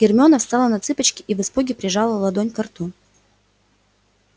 гермиона встала на цыпочки и в испуге прижала ладонь ко рту